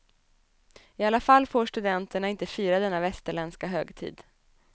I alla fall får studenterna inte fira denna västerländska högtid.